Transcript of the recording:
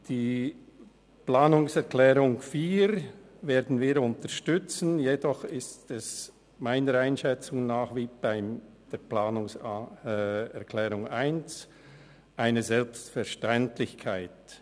Die Planungserklärung 4 werden wir unterstützen, jedoch ist es nach meiner Einschätzung wie bei Planungserklärung 1 eine Selbstverständlichkeit.